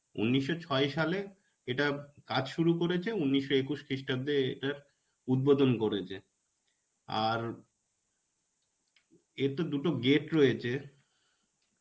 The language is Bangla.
উনিশশো ছয় সালে এটা কাজ শুরু করেছে উনিশশো একুশ খ্রিস্টাব্দে এটার উদ্বোধন করেছে. আর এর তো দুটো gate রয়েছে.